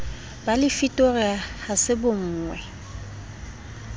ba lefitori ha se bonwe